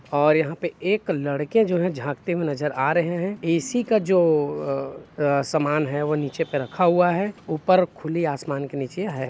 और यहाँ पे एक लड़के जो हैं झकते हुए नजर आ रहे है ए_सी का जो अं-- सामान हैवो नीचे पे रखा हुआ है ऊपर खुली आसमान के नीचे है।